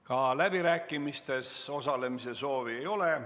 Ka läbirääkimistes osalemise soovi ei ole.